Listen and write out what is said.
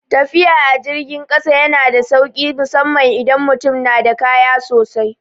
Tafiya a jirgin kasa yana da sauki musamman idan mutum na da kaya sosai.